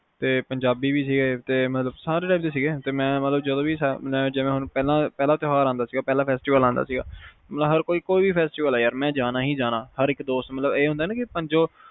ਪੰਜਾਬੀ ਵੀ ਸੀ ਮਤਲਬ ਸਾਰੇ type ਦੇ ਸੀ ਜਦੋ ਕੋਈ ਪਹਿਲਾ ਤਿਓਹਾਰ ਆਉਂਦਾ ਸੀ ਮੈਂ ਜਾਣਾ ਹੀ ਪਹਿਲਾ festival ਆਂਦਾ ਸੀਗਾ ਕੋਈ ਵੀ festival ਆਨਾ ਮੈਂ ਜਾਣਾ ਹੀ ਜਾਣਾ ਹਰ ਇਕ ਦੋਸਤ